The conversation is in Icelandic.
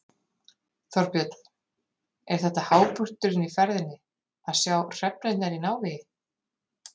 Þorbjörn: Er þetta hápunkturinn í ferðinni, að sjá hrefnurnar í návígi?